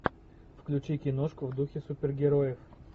включи киношку в духе супергероев